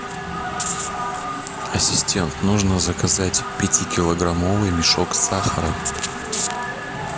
ассистент нужно заказать пятикилограммовый мешок сахара